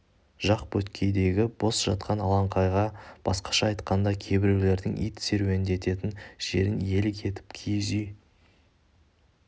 жақ беткейдегі бос жатқан алаңқайға басқаша айтқанда кейбіреулердің ит серуендететін жеріне иелік етіп киіз үй